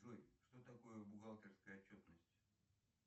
джой что такое бухгалтерская отчетность